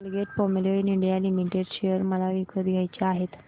Colgate Palmolive India limited share मला विकत घ्यायचे आहेत